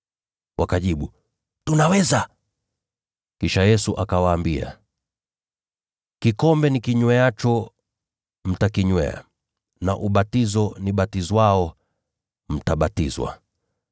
Wakajibu, “Tunaweza.” Kisha Yesu akawaambia, “Kikombe nikinyweacho mtakinywea na ubatizo nibatizwao mtabatizwa,